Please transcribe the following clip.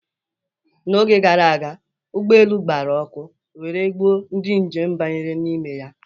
N'oge gara aga, ụgbọelu gbara ọkụ were gbuo ndị njem banyere n'ime ya